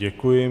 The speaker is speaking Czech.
Děkuji.